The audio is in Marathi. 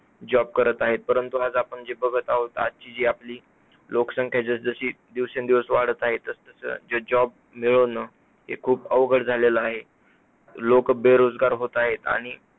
job करत आहे, परंतु आज आपण जी बघत आहोत आजची जी आपली लोकसंख्या जसजशी दिवसेंदिवस वाढतं आहे, तसं तसं ज job मिळणं हे खूप अवगढ झालेलं आहे लोकं बेरोजगार होतं आहेत आणि